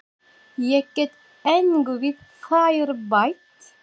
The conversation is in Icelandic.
Ég get engu við þær bætt.